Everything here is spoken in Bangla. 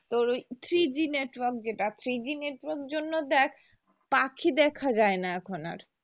তোর ওই three G network সেটা three G network জন্য দেখ পাখি দেখা যায় না এখন আর